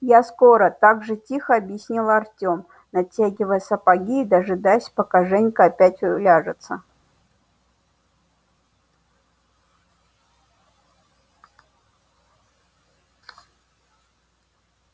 я скоро так же тихо объяснил артём натягивая сапоги и дожидаясь пока женька опять уляжется